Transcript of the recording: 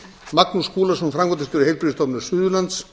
magnús skúlason framkvæmdastjóri heilbrigðisstofnunar suðurlands